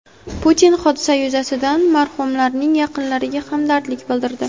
Putin hodisa yuzasidan marhumlarning yaqinlariga hamdardlik bildirdi.